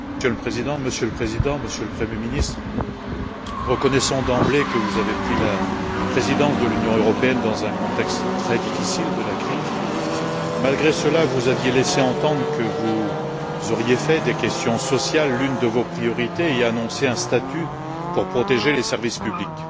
Monsieur le Président, Monsieur le Président, Monsieur le Premier ministre, reconnaissant d'emblée que vous aviez pris la présidence de l'Union européenne dans le contexte très difficile de la crise, vous aviez laissé, malgré cela, entendre que vous auriez fait des questions sociales l'une de vos priorités et annoncé un statut pour protéger les services publics.